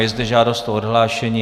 Je zde žádost o odhlášení.